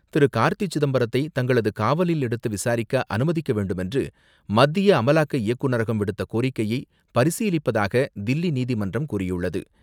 திரு. கார்த்தி சிதம்பரத்தை தங்களது காவலில் எடுத்து விசாரிக்க அனுமதிக்க வேண்டுமென்று மத்திய அமலாக்க இயக்குநரகம் விடுத்த கோரிக்கையை பரிசீலிப்பதாக தில்லி நீதிமன்றம் கூறியுள்ளது.